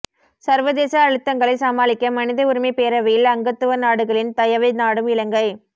சர்வதேச அழுத்தங்களை சமாளிக்க மனித உரிமை பேரவையில் அங்கத்துவ நாடுகளின் தயவை நாடும் இலங்கை